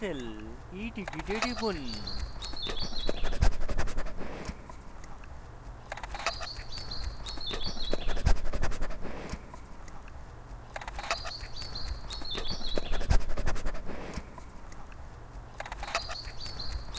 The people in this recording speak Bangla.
cancel eticket এ টিপুন